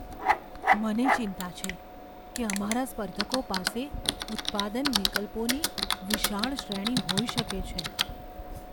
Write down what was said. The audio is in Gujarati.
મને ચિંતા છે કે અમારા સ્પર્ધકો પાસે ઉત્પાદન વિકલ્પોની વિશાળ શ્રેણી હોઈ શકે છે.